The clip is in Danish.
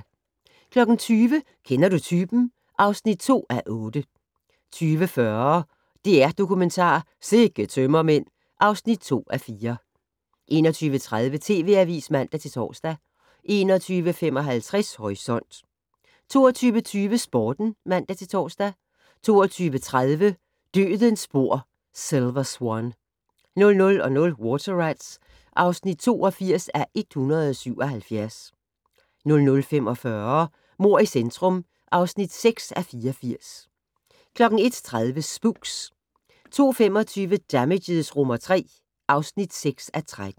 20:00: Kender du typen? (2:8) 20:40: DR-Dokumentar: Sikke tømmermænd (2:4) 21:30: TV Avisen (man-tor) 21:55: Horisont 22:20: Sporten (man-tor) 22:30: Dødens spor: Silver Swan 00:00: Water Rats (82:177) 00:45: Mord i centrum (6:84) 01:30: Spooks 02:25: Damages III (6:13)